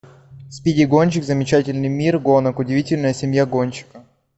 спиди гонщик замечательный мир гонок удивительная семья гонщика